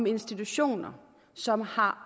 institutioner som har